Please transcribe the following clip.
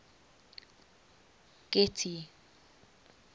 getty